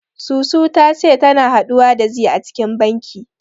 Susu ta ce tana haɗuwa da zee a cikin banki.